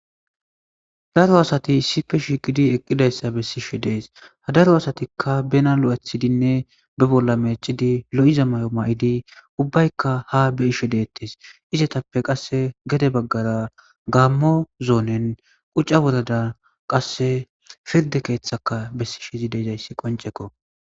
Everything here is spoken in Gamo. daro asati issife shiqidi eqqidayssa bessishi dees ha daro asatikka bena lo7ethidinne be bolla meechidi lo7iza may7o may7idi ubbaykka ha be isho deettes isetappe qasse gede baggara gammo zoonen qucca wodada qasse pirde keeththaka bessishizi deizayssi qoncekko